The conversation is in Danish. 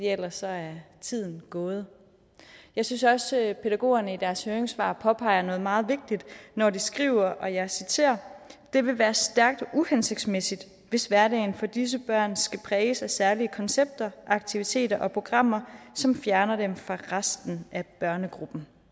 ellers er tiden gået jeg synes også at pædagogerne i deres høringssvar påpeger noget meget vigtigt når de skriver og jeg citerer det vil være stærkt uhensigtsmæssigt hvis hverdagen for disse børn skal præges af særlige koncepter aktiviteter og programmer som fjerner dem fra resten af børnegruppen